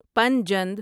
Panjnad